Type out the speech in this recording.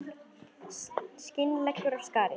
Skin leggur af skari.